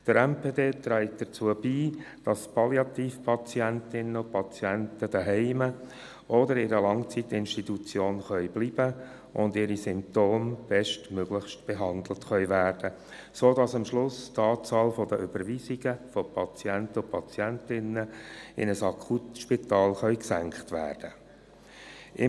Der MPD träg dazu bei, dass Palliativpatientinnen und -patienten zu Hause oder in einer Langzeitinstitution bleiben können, und ihre Symptome bestmöglich behandelt werden können, sodass am Schluss die Anzahl der Überweisungen von Patienten und Patientinnen in ein Akutspital gesenkt werden können.